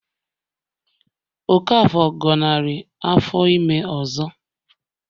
Okafor gọnarị afọ ime ọzọ